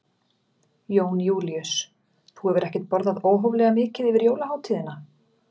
Jón Júlíus: Þú hefur ekkert borðað óhóflega mikið yfir jólahátíðina?